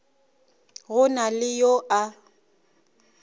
go na le yo a